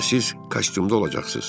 Həm də siz kostyumda olacaqsınız.